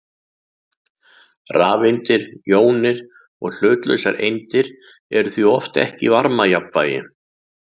Rafeindir, jónir og hlutlausar eindir eru því oft ekki í varmajafnvægi.